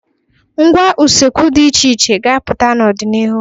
Ngwá usekwu dị iche iche ga-apụta n'ọdịnihu.